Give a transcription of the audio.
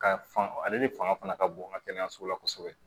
Ka fa ale de fanga ka bon n ka kɛnɛyaso la kosɛbɛ